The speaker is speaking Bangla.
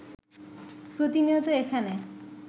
প্রতিনিয়ত এখানে